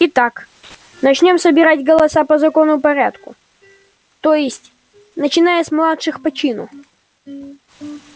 итак начнём собирать голоса по законному порядку то есть начиная с младших по чину